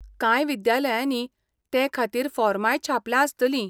कांय विद्यालयांनी ते खातीर फॉर्मांय छापल्यां आसतलीं.